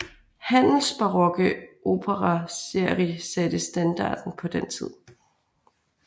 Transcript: Händels barokke opere serie satte standarden på den tid